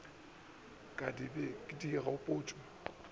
ka di be di gagotšwe